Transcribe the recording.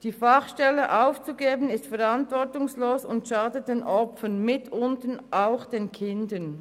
Die Fachstelle aufzugeben, wäre verantwortungslos und würde den Opfern schaden, insbesondere auch den Kindern.